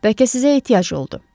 Bəlkə sizə ehtiyac oldu.